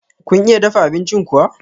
Kun iya dafa abincin kuwa?